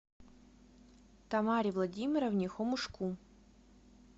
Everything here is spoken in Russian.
тамаре владимировне хомушку